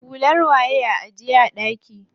Hular waye a ajiye a ɗaki?